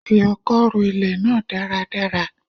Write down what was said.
Fi ọkọ́ ro ilẹ̀ náà dáradára